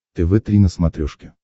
тв три на смотрешке